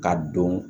K'a dɔn